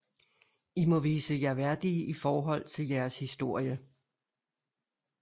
I må vise jer værdige i forhold til jeres historie